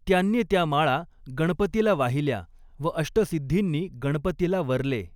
त्यांनी त्या माळा गणपतीला वाहिल्या व अष्ट सिद्धींनी गणपतीला वरले.